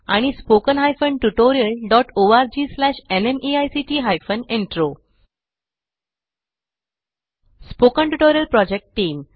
spoken tutorial project team